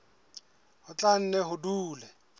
ho tla nne ho dule